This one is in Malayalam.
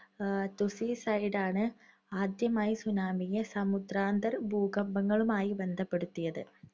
എഹ് തുസി സൈഡാണ് ആദ്യമായി tsunami യെ സമുദ്രാന്തർ ഭൂകമ്പങ്ങളുമായി ബന്ധപ്പെടുത്തിയത്.